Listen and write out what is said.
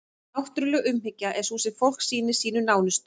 náttúruleg umhyggja er sú sem fólk sýnir sínum nánustu